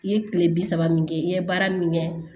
I ye kile bi saba min kɛ i ye baara min kɛ